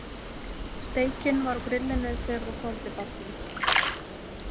Steikin var á grillinu þegar þú hvolfdir bátnum.